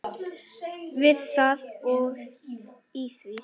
Við það og í því.